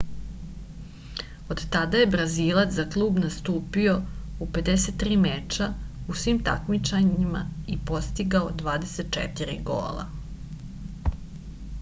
od tada je brazilac za klub nastupio u 53 meča u svim takmičenja i postigao 24 gola